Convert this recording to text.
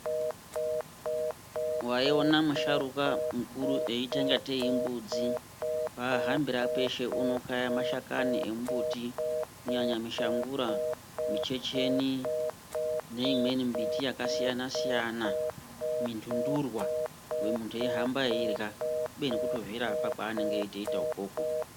Waiona musharukwa mukuru eiita kungatei imbudzi, pahambira peshe unokaya mashakani emumbuti kunyanya mishangura, michecheni neimweni mbiti yakasiyana -siyana mintundurwa muntu eihamba eirya kubeni kutozvirapa ikwokwo.